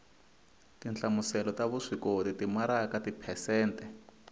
tinhlamuselo ta vuswikoti timaraka tiphesente